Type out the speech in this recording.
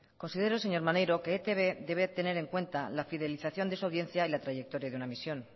considero señor maneiro que etb debe tener en cuenta la fidelización de su audiencia y la trayectoria de una emisión